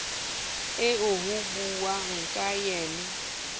eo ho buuwang ka yena